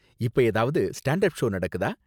இப்ப ஏதாவது ஸ்டண்டட் ஷோ நடக்குதா